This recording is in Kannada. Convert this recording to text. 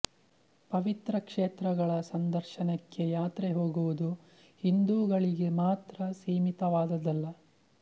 ಪವಿತ್ರ ಕ್ಷೇತ್ರಗಳ ಸಂದರ್ಶನಕ್ಕೆ ಯಾತ್ರೆ ಹೋಗುವುದು ಹಿಂದೂಗಳಿಗೆ ಮಾತ್ರ ಸೀಮಿತವಾದದ್ದಲ್ಲ